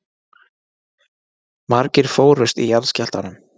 Margir fórust í jarðskjálftanum